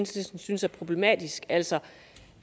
synes synes er problematiske altså